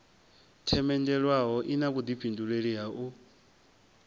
themendelwaho ina vhuḓifhindulei ha u